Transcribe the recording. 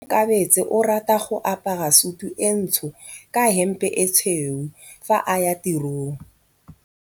Onkabetse o rata go apara sutu e ntsho ka hempe e tshweu fa a ya tirong.